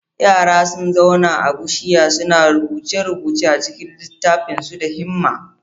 Yara sun zauna a teburinsu, suna rubuce-rubuce a cikin littattafansu da himma.